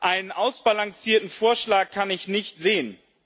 Einen ausbalancierten Vorschlag kann ich nicht sehen.